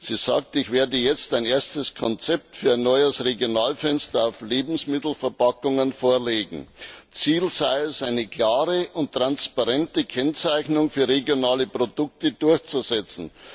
Sie sagt Ich werde jetzt ein erstes Konzept für ein neues Regionalfenster auf Lebensmittelverpackungen vorlegen. Ziel sei es, eine klare und transparente Kennzeichnung für regionale Produkte durchzusetzen.